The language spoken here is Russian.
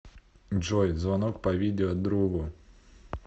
джой звонок по видео другу